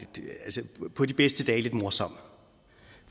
på de bedste dage er lidt morsom